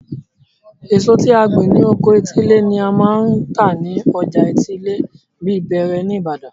Èso tí a gbìn ní oko etílé ni a máa ń tà ni ọjà etílé bíi bẹẹrẹ ní ìbàdàn.